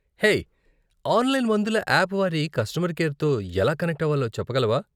Hey, online మందుల app వారి customer కేర్తో ఎలా కనెక్ట్ అవ్వాలో చెప్పగలవా?